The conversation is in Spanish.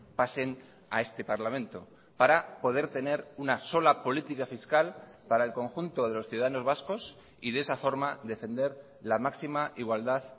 pasen a este parlamento para poder tener una sola política fiscal para el conjunto de los ciudadanos vascos y de esa forma defender la máxima igualdad